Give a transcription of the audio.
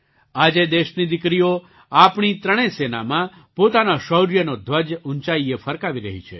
આજે દેશની દીકરીઓ આપણી ત્રણેય સેનામાં પોતાના શૌર્યનો ધ્વજ ઊંચાઈએ ફરકાવી રહી છે